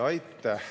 Aitäh!